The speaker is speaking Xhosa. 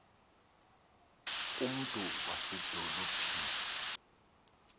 ku mntu wasedolophini